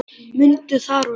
Mundu það, Rósa.